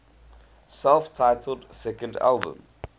self titled second album